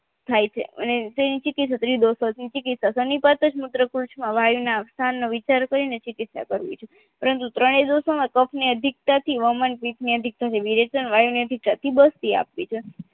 થાય છે અને જે નીચેકે ક્ષત્રિયદોસો થી નિપાતજમાં મૂત્રયકુંજના વાયુના સ્થાનનો વિચાર કરીને ચીકીત્સા કરવી જોઈએ પરંતુ ત્રણે દોષોમાં કફની અધિકતાથી વઉમણ પિત્તની અધિકતા થી વિરેજન વાયુ ને થતી બસ્તી અપીછે